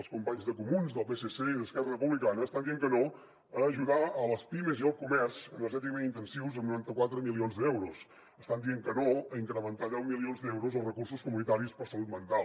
els companys de comuns del psc i d’esquerra republicana estan dient que no a ajudar les pimes i el comerç energèticament intensius amb noranta quatre milions d’euros estan dient que no a incrementar en deu milions d’euros els recursos comunitaris per a salut mental